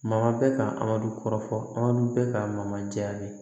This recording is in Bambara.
Ma bɛ ka an ka du kɔrɔfɔ man di bɛ ka mayaa